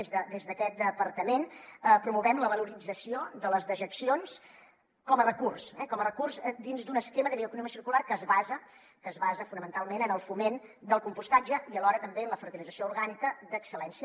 des d’aquest departament promovem la valorització de les dejeccions com a recurs com a recurs dins d’un esquema de bioeconomia circular que es basa fonamentalment en el foment del compostatge i alhora també en la fertilització orgànica d’excel·lència